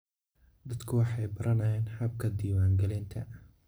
Dadku waxay baranayaan habka diiwaangelinta.